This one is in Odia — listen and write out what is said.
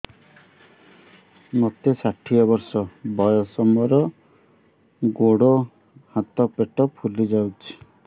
ମୋତେ ଷାଠିଏ ବର୍ଷ ବୟସ ମୋର ଗୋଡୋ ହାତ ପେଟ ଫୁଲି ଯାଉଛି